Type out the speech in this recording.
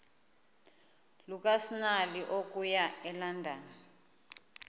lukasnail okuya elondon